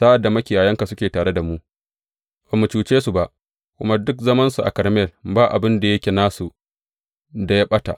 Sa’ad da makiyayanka suke tare da mu, ba mu cuce su ba, kuma duk zamansu a Karmel ba abin da yake nasu da ya ɓata.